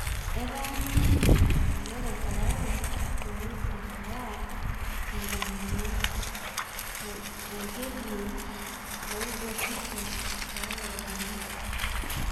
etaa ninje Elerai tayari peyie iruwaa enkomono naigerie oloibokisho loormukutani